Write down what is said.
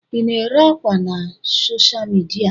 Ị na-ere ákwà na soshal midia?